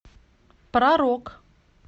про рок